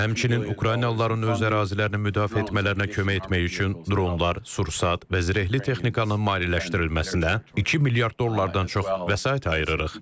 Həmçinin Ukraynalıların öz ərazilərini müdafiə etmələrinə kömək etmək üçün dronlar, sursat və zirehli texnikanın maliyyələşdirilməsinə 2 milyard dollardan çox vəsait ayırırıq.